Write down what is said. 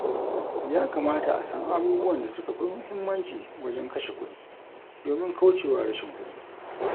Yakamata a san abubuwan da suka fi muhimmanci wajen kashe kuɗi, domin kauce wa rashin kudi.